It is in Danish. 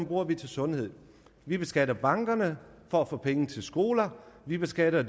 bruger vi til sundhed vi beskatter bankerne for få penge til skoler vi beskatter